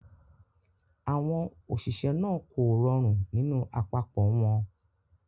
Àwọn òṣìṣẹ́ náà kò rọrùn nínú àpapọ̀ wọn.